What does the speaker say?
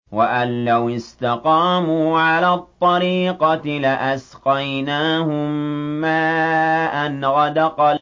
وَأَن لَّوِ اسْتَقَامُوا عَلَى الطَّرِيقَةِ لَأَسْقَيْنَاهُم مَّاءً غَدَقًا